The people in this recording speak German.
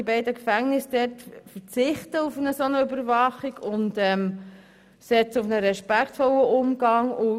Die beiden Gefängnisse Pöschwies und Lenzburg verzichten auf eine solche Überwachung und setzen auf einen respektvollen Umgang.